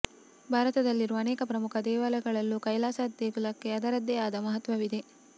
ಭಾರತದಲ್ಲಿರುವ ಅನೇಕ ಪ್ರಮುಖ ದೇಗುಲಗಳಲೂ ಕೈಲಾಸ ದೇಗುಲಕ್ಕೆ ಅದರದ್ದೇ ಆದ ಮಹತ್ವವಿದೆ